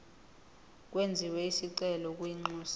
kwenziwe isicelo kwinxusa